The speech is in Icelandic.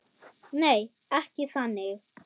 Nei, ekki þannig.